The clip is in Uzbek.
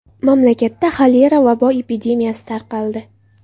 Mamlakatda xolera vabo epidemiyasi tarqaldi.